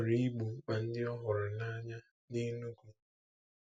Ọ chọrọ igbo mkpa ndị ọ hụrụ n'anya n'Enugwu.